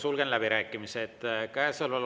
Sulgen läbirääkimised.